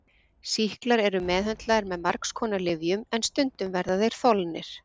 Sýklar eru meðhöndlaðir með margskonar lyfjum en stundum verða þeir þolnir.